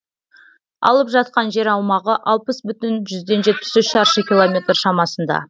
алып жатқан жер аумағы алпыс бүтін жүзден жетпіс үш шаршы километр шамасында